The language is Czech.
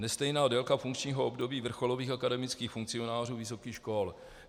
Nestejná délka funkčního období vrcholových akademických funkcionářů vysokých škol.